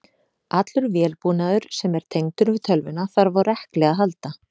Allur vélbúnaður sem er tengdur við tölvuna þarf á rekli að halda.